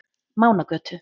Mánagötu